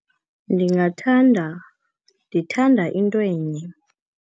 Ndingathanda, ndithanda intwenye.